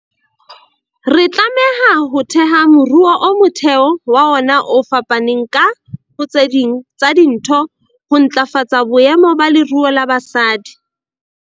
Re tlameha ho theha moruo o motheo wa ona o fapaneng ka, ho tse ding tsa dintho, ho ntlafatsa boemo ba leruo la basadi.